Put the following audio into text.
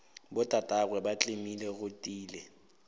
botatagwe ba tlemile go tiile